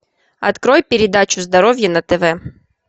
открой передачу здоровье на тв